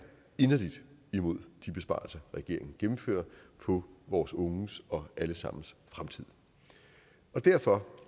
inderlig imod de besparelser regeringen gennemfører på vores unges og alle sammens fremtid derfor